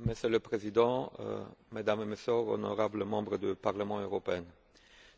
Monsieur le Président, Mesdames et Messieurs, honorables membres du Parlement européen,